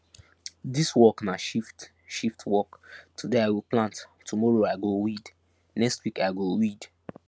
dis work na shift shift work today i go plant tomoro i go weed next week i go weed